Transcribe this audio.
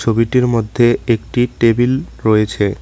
ছবিটির মধ্যে একটি টেবিল রয়েছে।